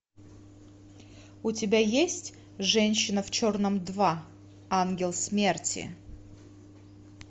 у тебя есть женщина в черном два ангел смерти